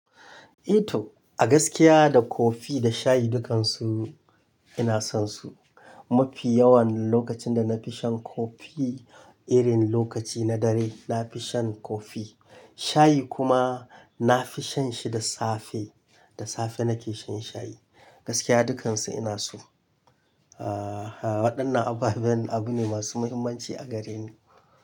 Eh to, a gaskiya da kofi da shayi dukansu ina son su. Mafi yawan lokacin da na fi shan kofi, irin lokaci na dare na fi shan kofi. Shayi kuma na fi shan shi da safe, da safe nake shan shayi. Gaskiya dukansu ina su. Aaa, waɗannan ababen abu ne masu muhimmanci a gare ni.